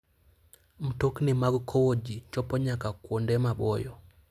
Mtokni mag kowo ji chopo nyaka kuonde maboyo.